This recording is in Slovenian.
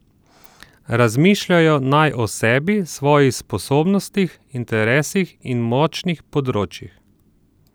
Razmišljajo naj o sebi, svojih sposobnostih, interesih in močnih področjih.